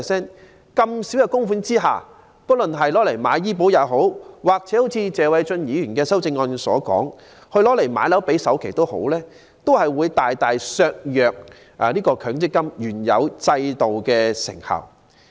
在這麼少的供款額下，不論用作購買醫療保險，或如謝偉俊議員的修正案所述，用作首次置業首期，均會大大削弱強積金原有制度的成效。